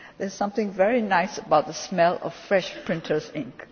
There is something very nice about the smell of fresh printer's ink.